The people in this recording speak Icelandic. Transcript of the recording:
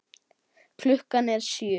Klukkan er sjö!